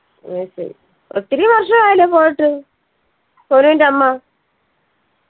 അത് ശരി ഒത്തിരി വർഷായല്ലോ പോയിട്ട് സോനുവിന്റെ അമ്മ